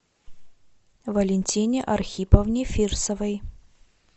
валентине архиповне фирсовой